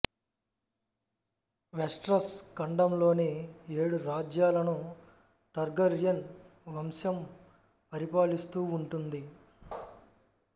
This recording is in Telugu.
వెస్టరస్ ఖండంలోని ఏడు రాజ్యాలను టర్గర్యన్ వంశం పరిపాలిస్తూ ఉంటుంది